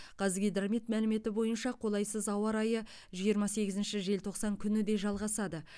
қазгидромет мәліметі бойынша қолайсыз ауа райы жиырма сегізінші желтоқсан күні де жалғасады